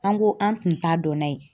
An ko an tun t'a dɔn n'a ye